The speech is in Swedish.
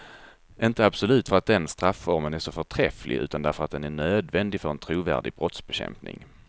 Inte absolut för att den strafformen är så förträfflig, utan därför att den är nödvändig för en trovärdig brottsbekämpning.